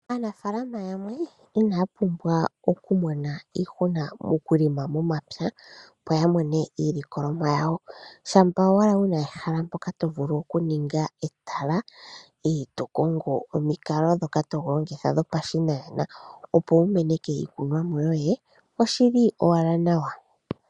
Aanafalama yamwe inaya pumbwa oku mona iihuna moku lima momapya, opo ya mone mo iilikolomwa yawo. Shampa owala wuna ehala mpoka to vulu oku ninga etala, e to kongo omikalo dhoka to longitha dho pashinanena opo wu meneke iikunwamo yoye, oshili owala nawa.